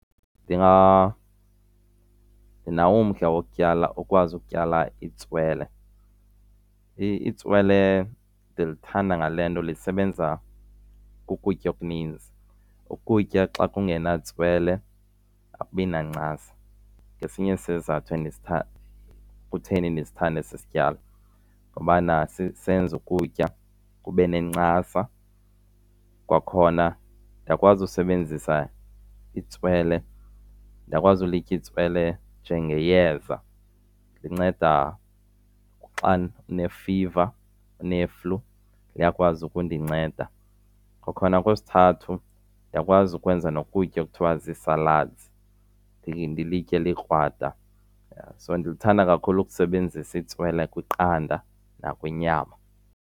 Ndinawo umdla wokutyala, ukwazi ukutyala itswele. Itswele ndilithanda ngale nto lisebenza kukutya okuninzi. Ukutya xa kungena tswele akubi nancasa ngesinye sesizathu kutheni ndisithanda esi sityalo, ngobana sisenza ukutya kube nencasa. Kwakhona ndiyakwazi usebenzisa itswele, ndiyakwazi ulitya itswele njengeyeza. Linceda xa ndinefiva, uneflu, liyakwazi ukundinceda. Kwakhona okwesithathu, ndiyakwazi ukwenza nokutya ekuthiwa zii-salads ndilitye likrwada. So ndilithanda kakhulu ukusebenzisa itswele kwiqanda nakwinyama.